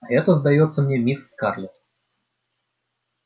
а это сдаётся мне мисс скарлетт